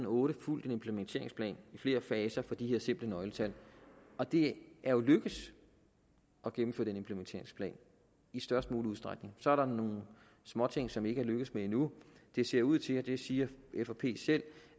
og otte fulgt en implementeringsplan i flere faser for de her simple nøgletal og det er jo lykkedes at gennemføre den implementeringsplan i størst mulig udstrækning så er der nogle småting som ikke er lykkedes endnu det ser ud til det siger fp selv